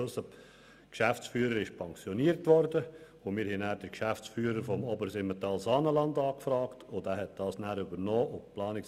Unser Geschäftsführer wurde pensioniert, und wir haben den Geschäftsführer der Region Obersimmental-Saanenland angefragt, der dieses Amt darauf übernommen hat.